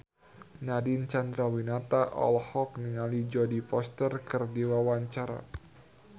Nadine Chandrawinata olohok ningali Jodie Foster keur diwawancara